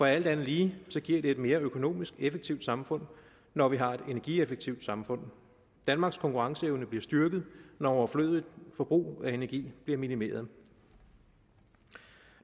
alt andet lige et mere økonomisk effektivt samfund når vi har et energieffektivt samfund danmarks konkurrenceevne blive styrket når overflødigt forbrug af energi bliver minimeret